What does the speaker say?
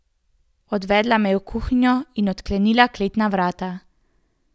Odvedla me je v kuhinjo in odklenila kletna vrata.